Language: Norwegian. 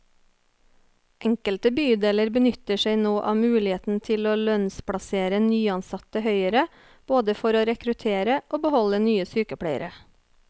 Enkelte bydeler benytter seg nå av muligheten til å lønnsplassere nyansatte høyere, både for å rekruttere og beholde nye sykepleiere.